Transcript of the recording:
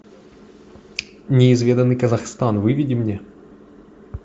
неизведанный казахстан выведи мне